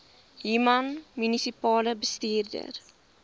human munisipale bestuurder